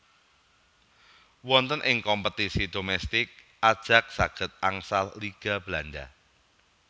Wonten ing kompetisi domestik Ajax saged angsal Liga Belanda